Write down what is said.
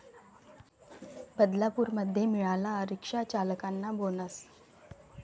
बदलापूरमध्ये मिळाला 'रिक्षाचालकांना' बोनस